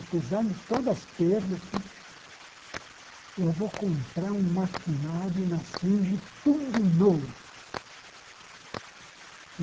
Apesar de todas as perdas, eu vou comprar um maquinário na Singe, tudo novo.